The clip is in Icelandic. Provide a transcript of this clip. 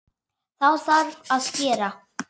Þá þarf að skera.